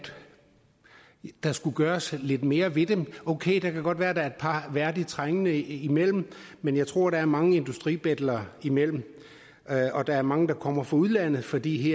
der skulle gøres lidt mere ved dem okay det kan godt være der er et par værdigt trængende imellem men jeg tror der er mange industribetlere imellem og der er mange der kommer fra udlandet fordi